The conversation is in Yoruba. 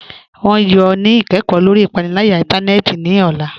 Wọn yọ ni ikẹkọ lọri ipanilaya ìntánẹnẹ́tì ni ọla